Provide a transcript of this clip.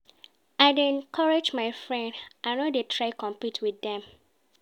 I dey encourage my friends, I no dey try compete wit dem.